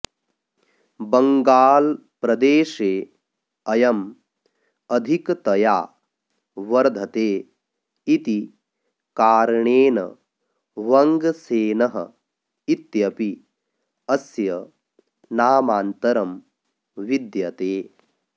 बङ्ग्गालप्रदेशे अयम् अधिकतया वर्धते इति कारणेन वङ्गसेनः इत्यपि अस्य नामान्तरं विद्यते